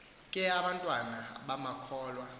ke abantwana bamakholwa